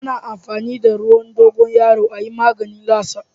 Ana amfani da ruwan dogoyaro a yin maganin latsa.